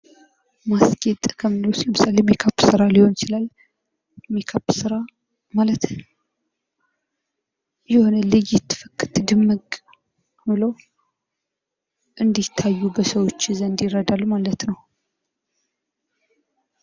ማስጌጥ ብዙ ጊዜ ሜካፕ ስራ ሊሆን ይችላል ልይት ፍክት ድምቅ ብለው እንድታዩ ይረዳል